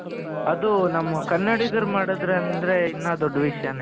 ಅದು ನಮ್ಮ ಕನ್ನಡಿಗರು ಮಾಡಿದ್ರು ಅಂತ ಅಂದ್ರೆ ಇನ್ನೂ ದೊಡ್ಡ ವಿಷಯನೆ.